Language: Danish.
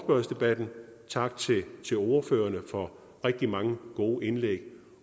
for debatten tak til ordførerne for rigtig mange gode indlæg